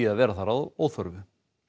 að vera þar að óþörfu